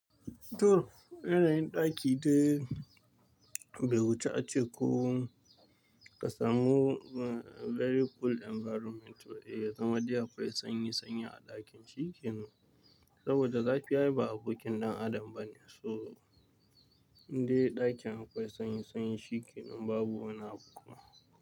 To, yanayin ɗakin da bai wuce ace ko ka samu very cool environment ba, eh, kamar dai akwai sanyi Sanyi a ɗakin. Shikenan. Saboda zafi ai ba abokin ɗan adam ba ne, so indai ɗakin akwai sanyi sanyi shikenan babu wani abu.